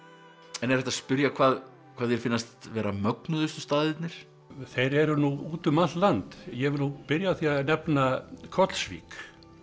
en er hægt að spyrja hvað hvað þér finnast vera mögnuðustu staðirnir þeir eru nú út um allt land ég vil nú byrja á því að nefna Kollsvík